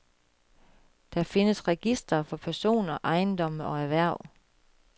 Der findes registre for personer, ejendomme og erhverv.